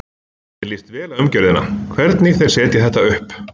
Mér líst vel á umgjörðina, hvernig þeir setja þetta upp.